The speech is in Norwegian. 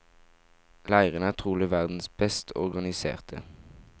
Leirene er trolig verdens best organiserte.